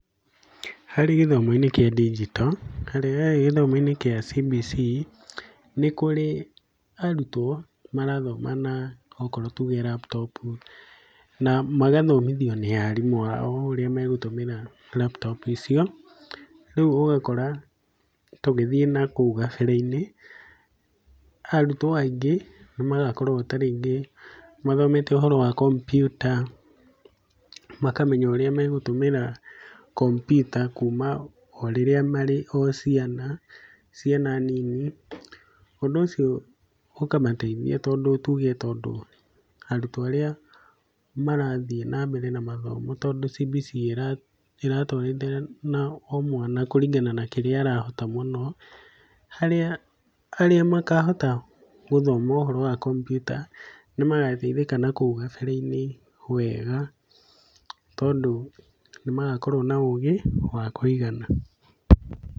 Harĩ gĩthomo-inĩ kĩa digital, harĩ gĩthomo-inĩ kĩa CBC, nĩkũrĩ arutwo marathoma na okorwo nĩ laptop na magathomithio nĩ arimũ ao, oũrĩa megũtũmĩra laptop icio, rĩu ũgakora tũgĩthiĩ nakũu gabere-inĩ, arutwo aingĩ nĩmagakorwo tarĩngĩ mathomete ũhoro wa kompiuta, makamenya ũrĩa megũtũmĩra kompiuta kuuma orĩrĩa marĩ o ciana, ciana nini, ũndũ ũcio ũkamateithia tondũ tuge tondũ arutwo arĩa marathiĩ nambere namathomo tondũ CBC ĩratwarithania na mwana kũringana na kĩrĩa arahota mũno, harĩa arĩa makahota gũthoma ũhoro wa kompiuta nĩ magateithĩka na kũu gabere-inĩ, wega tondũ nĩmagakorwo na ũgĩ wa kũigana.